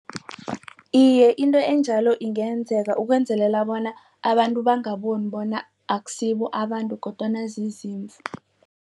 Iye, into enjalo ingenzeka ukwenzelela bona abantu bangaboni bona akusibo abantu kodwana zizimvu.